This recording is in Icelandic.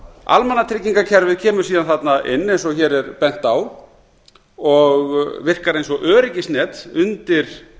almannatryggingakerfið kemur síðan þarna inn eins og hér er bent á og virkar eins og öryggisnet undir